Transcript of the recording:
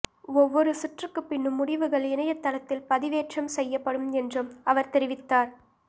ஒவ்வொரு சுற்றுக்கு பின்னும் முடிவுகள் இணையதளத்தில் பதிவேற்றம் செய்யப்படும் என்றும் அவர் தெரிவித்தார்